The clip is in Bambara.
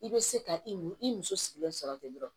I bɛ se ka i mu i muso sigilen sɔrɔ ten dɔrɔn